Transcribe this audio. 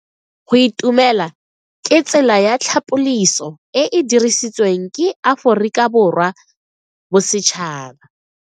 Go itumela ke tsela ya tlhapoliso e e dirisitsweng ke Aforika Borwa ya Bosetšhaba.